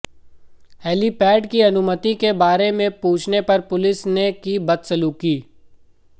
helipad की अनुमति के बारे में पूछने पर पुलिस ने की बदसलूकी